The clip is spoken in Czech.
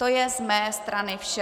To je z mé strany vše.